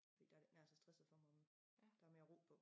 Fordi der det ikke nær så stresset for mig der mere ro på